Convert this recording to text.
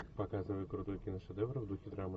показывай крутой киношедевр в духе драмы